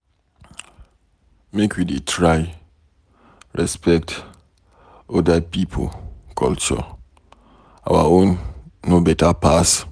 Make we dey try respect oda pipo culture, our own no beta pass.